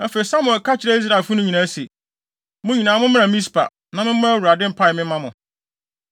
Afei, Samuel ka kyerɛɛ Israelfo no nyinaa se, “Mo nyinaa mommra Mispa, na memmɔ Awurade mpae mma mo.”